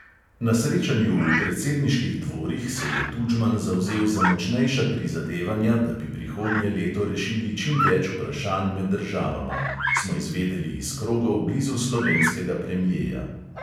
Na srečanju v predsedniških dvorih se je tudžman zavzel za močnejša prizadevanja, da bi prihodnje leto rešili čim več vprašanj med državama, smo izvedeli iz krogov blizu slovenskega premjeja.